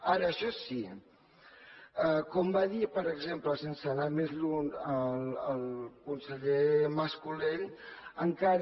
ara això sí com va dir per exemple sense anar més lluny el conseller mas colell encara